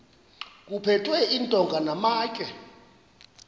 kuphethwe iintonga namatye